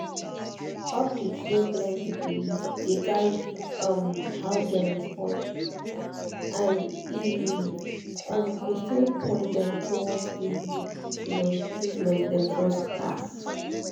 update wey blend with belief dey guide um how dem respond and e um go still point dem toward the um treatment dem trust pass